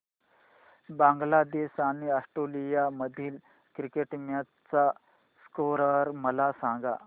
बांगलादेश आणि ऑस्ट्रेलिया मधील cricket match चा स्कोअर मला सांगा